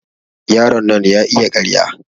Yaron nan ya iya ƙarya.